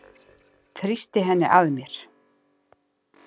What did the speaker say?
Þrýsti henni að mér.